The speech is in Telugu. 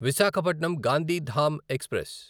విశాఖపట్నం గాంధీధామ్ ఎక్స్ప్రెస్